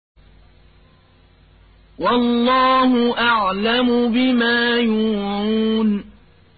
وَاللَّهُ أَعْلَمُ بِمَا يُوعُونَ